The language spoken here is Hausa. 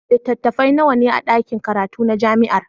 Littattafai nawa ne a ɗakin karatu na jami'ar?